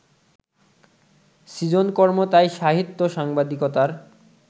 সৃজনকর্ম তাই সাহিত্য-সাংবাদিকতার